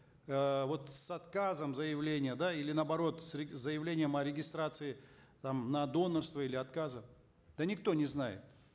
э вот с отказом заявления да или наоборот с заявлением о регистрации там на донорство или отказом да никто не знает